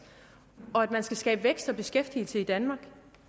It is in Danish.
og at man skal skabe vækst og beskæftigelse i danmark